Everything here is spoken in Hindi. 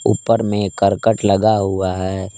ऊपर में करकट लगा हुआ है।